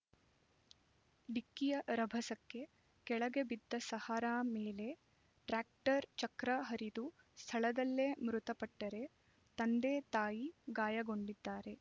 ಡಿಕ್ಕಿಯ ರಭಸಕ್ಕೆ ಕೆಳಗೆ ಬಿದ್ದ ಸಹರಾ ಮೇಲೆ ಟ್ರ್ಯಾಕ್ಟರ್ ಚಕ್ರ ಹರಿದು ಸ್ಥಳದಲ್ಲೇ ಮೃತಪಟ್ಟರೆ ತಂದೆ ತಾಯಿ ಗಾಯಗೊಂಡಿದ್ದಾರೆ